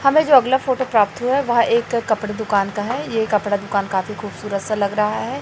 हमें जो अगला फोटो प्राप्त हुआ है। वह एक कपड़े दुकान का है ये कपड़ा दुकान काफी खूबसूरत सा लग रहा है।